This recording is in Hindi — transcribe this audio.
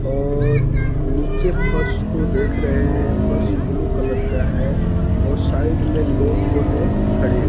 और नीचे फर्श को देख रहे हैं फर्श ब्लू कलर का है और साइड में लोग जो है खड़े--